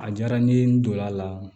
A diyara n ye n donn'a la